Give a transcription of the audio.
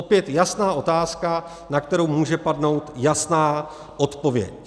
Opět jasná otázka, na kterou může padnout jasná odpověď.